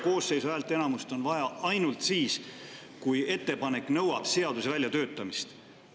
Koosseisu häälteenamust on vaja ainult siis, kui ettepanek nõuab seaduse väljatöötamist.